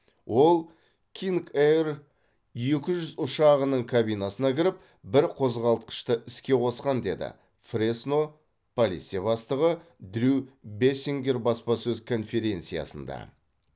ол кинг ейр екі жүз ұшағының кабинасына кіріп бір қозғалтқышты іске қосқан деді фресно полиция бастығы дрю бессингер баспасөз конференциясында